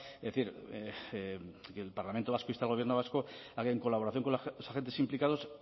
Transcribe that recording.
es decir que el parlamento vasco insta al gobierno vasco a que en colaboración con los agentes implicados